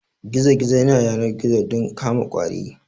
Gizo gizo yana yanar gizo don kama ƙwari